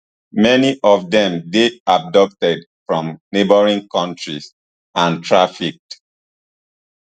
many of dem dey abducted from neighbouring kontries and trafficked